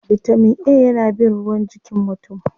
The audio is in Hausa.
Bitamin A yana bin ruwa jikin mutum.